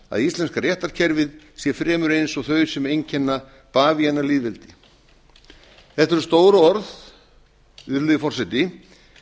að íslenska réttarkerfið sé fremur eins og þau sem einkenna bavíanalýðveldi þetta eru stór orð virðulegi forseti